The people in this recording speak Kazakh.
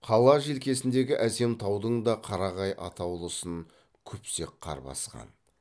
қала желкесіндегі әсем таудың да қарағай атаулысын күпсек қар басқан